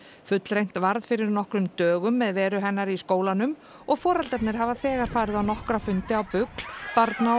fullreynt var fyrir nokkrum dögum með veru hennar í skólanum og foreldrarnir hafa þegar farið á nokkra fundi á BUGL barna